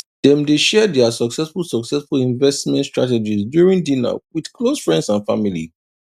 dem dey share their successful successful investment strategies during dinner with close friends and family